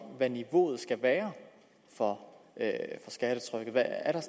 hvad niveauet skal være for skattetrykket er der